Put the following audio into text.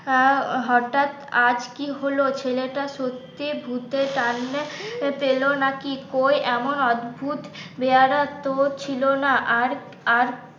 হঠাৎ আজ কি হলো ছেলেটা সত্যি ভুতের টানলে পেলো নাকি কই এমন অদ্ভুত বেয়ারা তো ছিল না আর